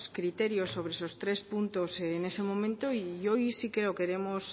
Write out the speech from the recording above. criterios sobre esos puntos en ese momento y hoy sí que lo queremos